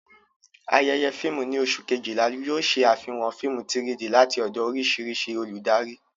Ayẹyẹ fíìmù ní oṣù Kejìlá yóò ṣe àfihàn fíìmù 3-D láti ọ̀dọ̀ oríṣiríṣi olùdarí.